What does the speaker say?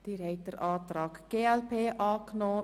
Sie haben den Antrag der glp angenommen.